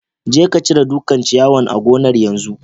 Je ka cire dukan ciyawan a gonan'yanzu!